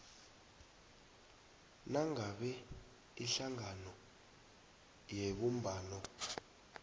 nangabe ihlangano yebumbano